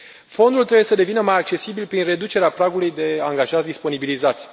Fondul trebuie să devină mai accesibil prin reducerea pragului de angajați disponibilizați.